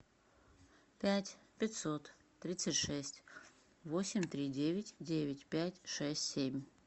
пять пятьсот тридцать шесть восемь три девять девять пять шесть семь